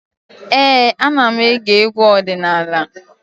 Ee, ana m ege egwu ọdịnala.